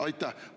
Aitäh!